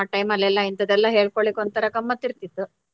ಆ time ಅಲ್ಲೆಲ್ಲ ಇಂತ್ತದ್ದೆಲ್ಲ ಹೇಳ್ಕೊಲ್ಲಿಕ್ಕೆ ಒಂಥರ ಗಮ್ಮರ್ತ್ತಿತಿತ್ತು.